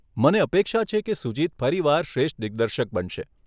મને અપેક્ષા છે કે સુજીત ફરી વાર શ્રેષ્ઠ દિગ્દર્શક બનશે.